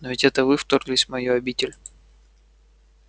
но ведь это вы вторглись в мою обитель